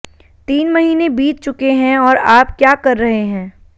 तीन महीने बीत चुके हैं और आप क्या कर रहे हैं